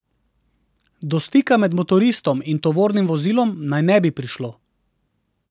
Do stika med motoristom in tovornim vozilom naj ne bi prišlo.